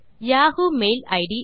Yahoo mail it